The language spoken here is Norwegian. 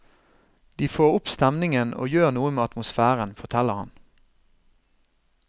De får opp stemningen og gjør noe med atmosfæren, forteller han.